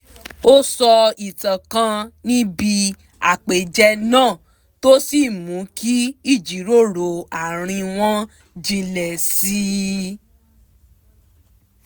ó sọ ìtàn kan níbi àpèjẹ náà tó sì mú kí ìjíròrò àárín wọn jinlẹ̀ sí i